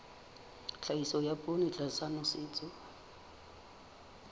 tlhahiso ya poone tlasa nosetso